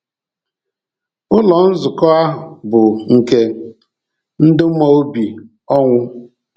Ụlọ Nzukọ a bụ nke ndụ maọbụ ọnwụ